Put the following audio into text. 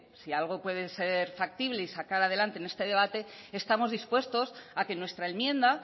si algo puede ser factible y sacar adelante en este debate estamos dispuestos a que nuestra enmienda